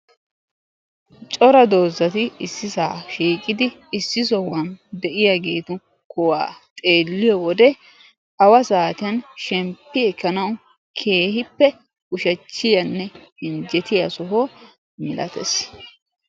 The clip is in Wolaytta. Cora dozzati issisaa shiiqqidi iss sohuwan de'iyaageti kuwaa xeeliyode awa saatiyan shemppi ekkanawu keehippe ushshachchiyanne injjettiya soho milattees.